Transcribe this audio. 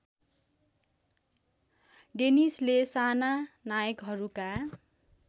डेनिसले साना नायकहरूका